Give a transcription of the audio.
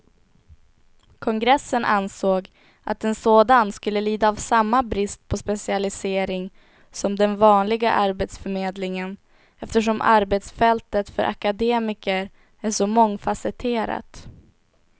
Kongressen ansåg att en sådan skulle lida av samma brist på specialisering som den vanliga arbetsförmedlingen, eftersom arbetsfältet för akademiker är så mångfasetterat.